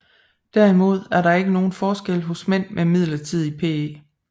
Derimod er der ikke nogen forskel hos mænd med midlertidig PE